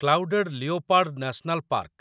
clouded leopard national park